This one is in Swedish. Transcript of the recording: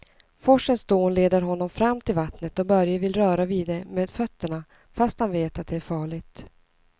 Forsens dån leder honom fram till vattnet och Börje vill röra vid det med fötterna, fast han vet att det är farligt.